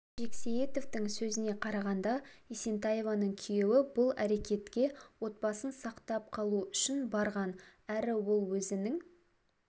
жексейітовтің сөзіне қарағанда есентаеваның күйеуі бұл әрекетке отбасын сақтап қалу үшін барған әрі ол өзінің